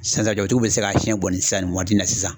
Sisan sisan jabatigiw bɛ se k'a siyɛn sisan ni waati in na sisan.